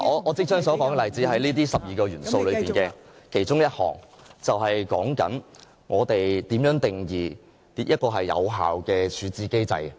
我即將說的例子是這12個主要元素中的其中一項，便是關於我們如何定義一個有效的處置機制。